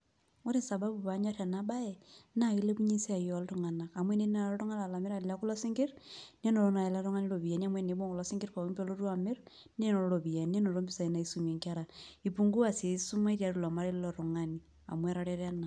Ore sababu panyor enabae, naa kilepunye esiai oltung'anak. Amu enetii nai oltung'ani enaa olamirani lekulo sinkirr, nenoto nai ele tung'ani iropiyiani amu enibung' kulo sinkirr pookin pelotu amir, nenoto ropiyiani. Nenoto ropiyiani naisumie nkera,i pungua si esumash tiatua ilo marei lilo tung'ani. Amu etareto ena.